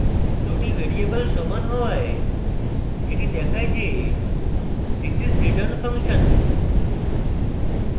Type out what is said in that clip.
দুটি ভ্যারিয়েবল সমান হওয়ায় এটি দেখায় যে this is return function